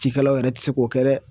Cikɛlaw yɛrɛ ti se k'o kɛ dɛ.